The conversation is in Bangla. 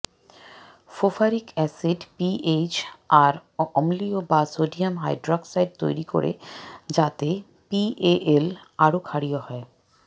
ফোফারিক এসিড পিএইচ আরও অম্লীয় বা সোডিয়াম হাইড্রক্সাইড তৈরি করে যাতে পিএএল আরও ক্ষারীয় হয়